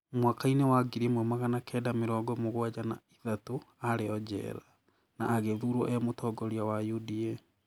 Mwaka-inĩ wa ngiri ĩmwe magana kenda mĩrongo mũgwanja na ithatũ arĩ o njera, na agĩthurwo e mũtongoria wa UDA.